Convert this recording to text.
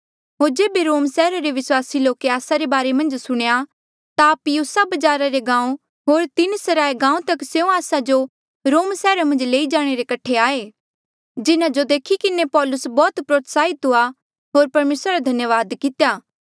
होर जेबे रोम सैहरा रे विस्वासी लोके आस्सा रे बारे मन्झ सुणेया ता अप्पियुसा बजारा रे गांऊँ होर तीनसराय गांऊँ तक स्यों आस्सा जो रोम सैहरा मन्झ लेई जाणे रे कठे आये जिन्हा जो देखी किन्हें पौलुस बौह्त प्रोत्साहित हुआ होर परमेसरा रा धन्यावाद कितेया